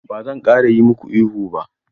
Ba zan ƙara yi maka ihu ba.